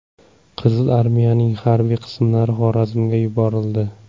Qizil armiyaning harbiy qismlari Xorazmga yuborildi.